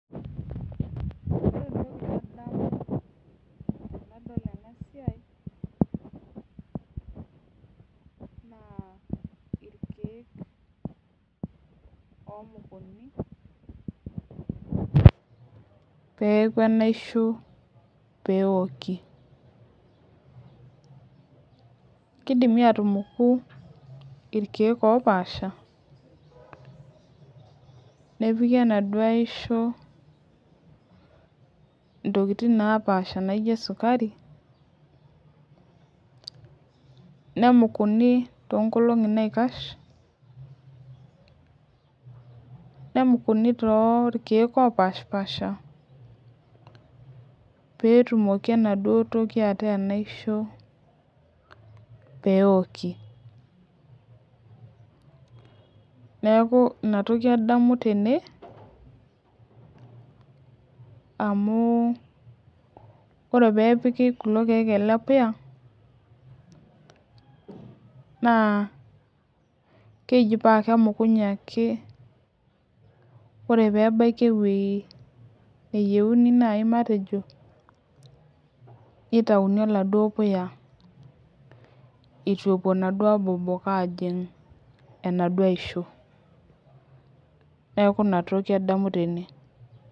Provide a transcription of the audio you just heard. Ore entoki nadamu tenadol ena siai naa irkeek oomukuni peeku enaisho pee eoki kidimi aatumuku irkeek oopaasha nepiki enaduo aisho ntokitin naapaasha naaijo sukari nemukuni toonkolong'i naikash nemukunin torkeek oopaashipaasha pee etumoki enaduo toki ataa enaisho pee eoki neeku ina toki adamu tene amu ore pee epiki kulo keek ele puya naa keji pee emukunye ake ore pee ebaya ewueji nayiueni nitayuni oladuo puya itu epuo inaduo abobok aajing' enaisho, neeku ina toki adamu tene.